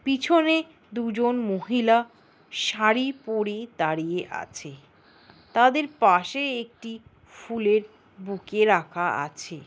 পিছনে দুজন মহিলা শাড়ি পরে দাঁড়িয়ে আছে তাদের পাশে একটি ফুলের বুকে রাখা আছে।